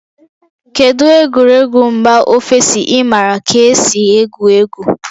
Kedu egwuregwu mba ofesi ị maara ka esi egwu egwu?